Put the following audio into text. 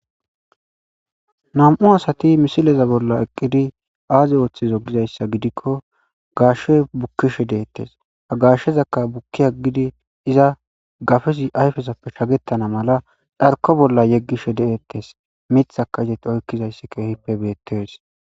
Nam'u asati misileza bolla eqqidi aaze ooththizo gizayssa gidikko gashshe bukkishe deettes agashshezakka bukki haggidi iza gafesi ayfesappe shagettana mala dharko bolla yeggishe de'ettes mitha ka iseti oykkizayssi keehippe beettees.